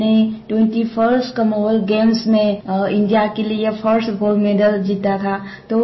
मीराबाई चानू मैंने 21st commonwealth games में India के लिए फर्स्ट गोल्ड मेडल जीता था